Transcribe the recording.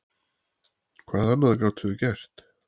Hvað annað gátum við gert?